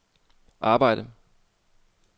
arbejde